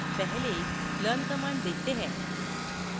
पहले learnकमांड देखते हैं